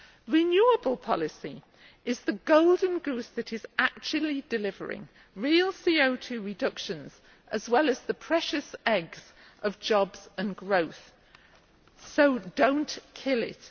Renewables policy is the golden goose that is actually delivering real CO 2 reductions as well as the precious eggs of jobs and growth, so do not kill it.